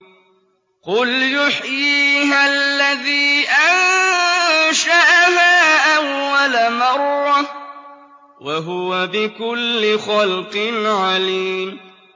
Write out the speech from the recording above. قُلْ يُحْيِيهَا الَّذِي أَنشَأَهَا أَوَّلَ مَرَّةٍ ۖ وَهُوَ بِكُلِّ خَلْقٍ عَلِيمٌ